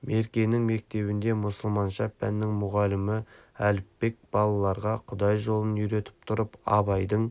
меркенің мектебінде мұсылманша пәннің мұғалімі әліпбек балаларға құдай жолын үйретіп тұрып абайдың